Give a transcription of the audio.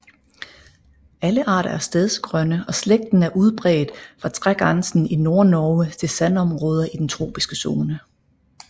Alle arter er stedsegrønne og slægten er udbredt fra trægrænsen i Nordnorge til sandområder i den tropiske zone